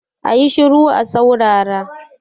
A yi shiru a saurara!